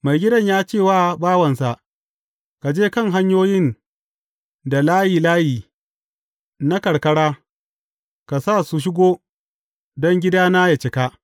Maigidan ya ce wa bawansa, Ka je kan hanyoyin da layi layi na karkara, ka sa su shigo, don gidana ya cika.’